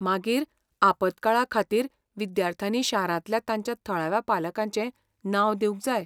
मागीर, आपत्काळाखातीर विद्यार्थ्यांनी शारांतल्या तांच्या थळाव्या पालकाचें नांव दिवंक जाय.